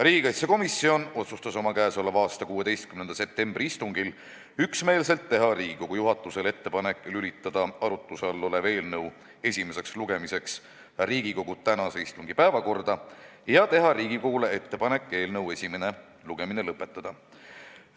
Riigikaitsekomisjon otsustas oma k.a 16. septembri istungil üksmeelselt teha Riigikogu juhatusele ettepaneku lülitada arutluse all olev eelnõu esimeseks lugemiseks Riigikogu tänase istungi päevakorda ja teha Riigikogule ettepaneku eelnõu esimene lugemine lõpetada.